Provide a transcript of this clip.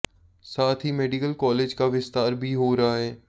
साथ ही medical college का विस्तार भी हो रहा है